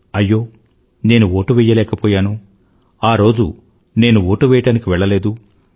అయ్యో నేను ఓటు వెయ్యలేకపోయాను ఆ రోజు నేను ఓటువెయ్యడానికి వెళ్లలేదు